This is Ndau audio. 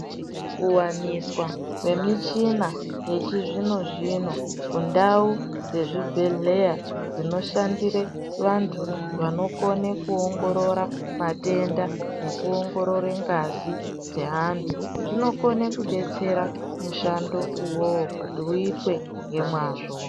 Kuwaniswa kwemichina yechizvino zvino mundau dzezvibhedhleya dzinoshandire vantu vanokone kuongorora matenda nekuongorora ngazi dzeantu zvinokone kudetsera mushando iwowo kuti uitwe ngemwazvo.